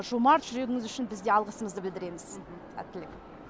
жомарт жүрегіңіз үшін біз де алғысымызды білдіреміз сәттілік